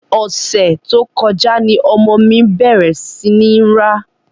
Ọ̀sẹ̀ tó kọjá ni ọmọ mi bẹ̀rẹ̀ sí ní ń rá.